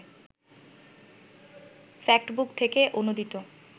factbook থেকে অনুদিত